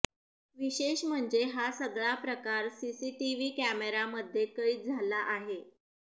विशेष म्हणजे हा सगळा प्रकार सीसीटीव्ही कॅमेऱ्यामध्ये कैद झाला आहे